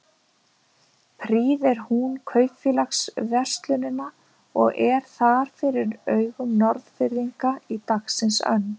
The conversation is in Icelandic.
Prýðir hún kaupfélagsverslunina og er þar fyrir augum Norðfirðinga í dagsins önn.